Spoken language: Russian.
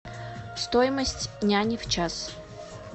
стоимость няни в час